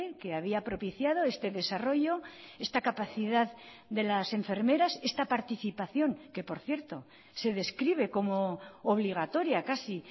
que había propiciado este desarrollo esta capacidad de las enfermeras esta participación que por cierto se describe como obligatoria casi